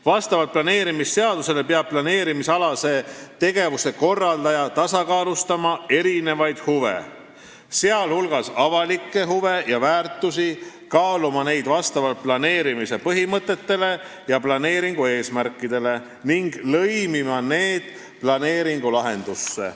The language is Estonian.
Vastavalt planeerimisseadusele peab planeerimistegevuse korraldaja tasakaalustama erinevaid huve, sh avalikke huve ja väärtusi, kaaluma neid vastavalt planeerimise põhimõtetele ja planeeringu eesmärkidele ning lõimima need planeeringulahendusse.